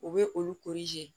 U bɛ olu